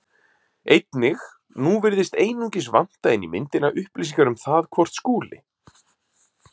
Einnig: Nú virðist einungis vanta inn í myndina upplýsingar um það hvort Skúli